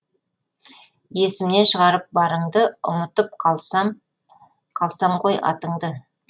есімнен шығарып барыңды ұмытып қалсам ғой атыңды